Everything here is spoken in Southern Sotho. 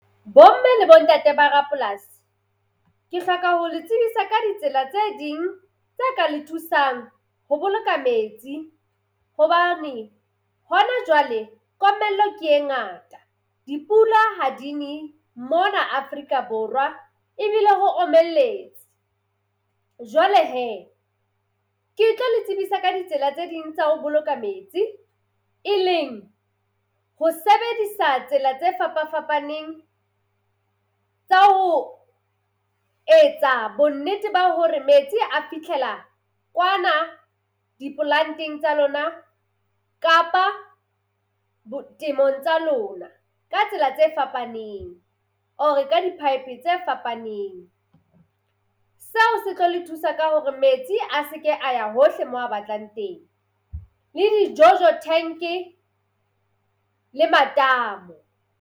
Bo mme le bo ntate ba rapolasi, ke hloka ho le tsebisa ka ditsela tse ding tse ka le thusang ho boloka metsi, hobane hona jwale komello ke e ngata dipula ha di ne mona Afrika Borwa ebile ho omelletse. Jwale hee ke tlo le tsebisa ka ditsela tse ding tsa ho boloka metsi, e leng ho sebedisa tsela tse fapafapaneng tsa ho etsa bonnete ba hore metsi a fitlhela kwana di-plant-eng tsa lona kapa temong tsa lona ka tsela tse fapaneng or ka di-pipe tse fapaneng. Seo se tlo le thusa ka hore metsi a se ke a ya hohle mo a batlang teng. Le di-jojo tank-e le matamo.